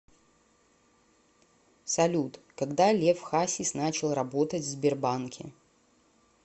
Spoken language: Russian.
салют когда лев хасис начал работать в сбербанке